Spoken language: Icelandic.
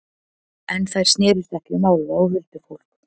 En þær snerust ekki um álfa og huldufólk.